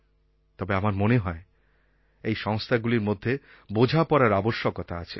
তবে আমার মনে হয় এই সংস্থাগুলির মধ্যে বোঝাপড়ার আবশ্যকতা আছে